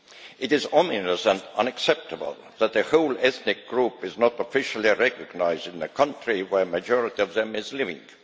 It is ominous and unacceptable that the whole ethnic group is not officially recognised in the country where a majority of them is living.